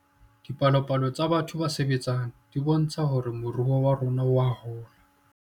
Dipalopalo tsa batho ba sebetseng di bontsha hore moruo wa rona oa hola